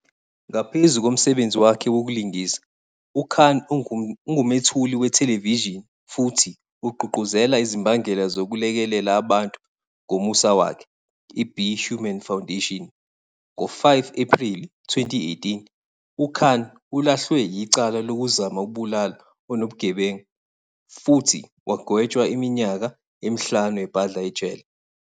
Ngaphezu komsebenzi wakhe wokulingisa, uKhan ungumethuli wethelevishini futhi ugqugquzela izimbangela zokulekelela abantu ngomusa wakhe, iBe Human Foundation. Ngo-5 Ephreli 2018, uKhan ulahlwe yicala lokuzama ukubulala onobugebenga futhi wagwetshwa iminyaka emihlanu ebhadla ejele.